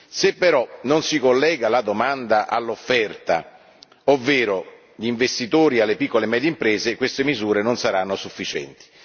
Se però non si collega la domanda all'offerta, ovvero gli investitori alle piccole medie imprese, queste misure non saranno sufficienti.